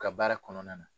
U ka baara kɔnɔna na